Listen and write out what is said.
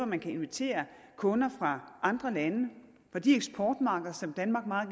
man kan invitere kunder fra andre lande fra de eksportmarkeder som danmark meget